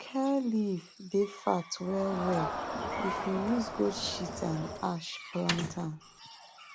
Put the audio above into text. kale leaf dey fat wellwell if you use goat shit and ash plant am